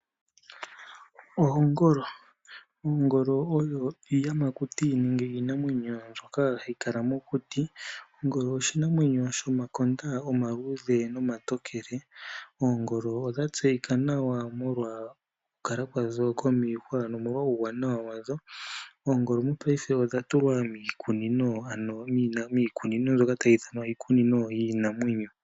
Oongolo, oongolo odho iiyamakuti nenge iinamwenyo ndyoka hayi kala mokuti. Ongolo oshinamwenyo shomakonda omaluudhe nomatokele. Oongolo odha tseyika nawa molwa okukala kwadho komiihwa nomolwa uuwanawa wadho. Oongolo mopaife odha tulwa miikunino ndyoka tayi ithanwa iikunino yiinamwenyo.